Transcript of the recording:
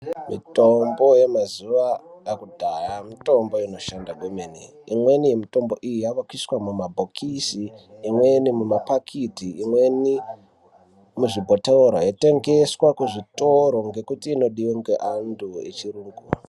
Mitombo yema zuva akudhaya mitombo ino shanda kwemeni imweni yemitombo iyi yakuiswa muma bhokisi imweni muma pakiti imweni muzvi bhotora yei tengeswa ku zvitoro ngekuti ino diwa nge andu echi yungu.